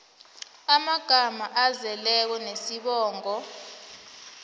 amagama azeleko nesibongo